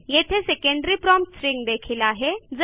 येथे secondary prompt string देखील आहे